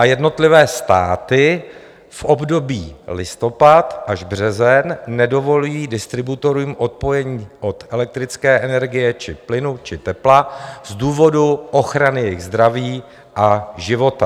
A jednotlivé státy v období listopad až březen nedovolí distributorům odpojení od elektrické energie či plynu či tepla z důvodu ochrany jejich zdraví a života.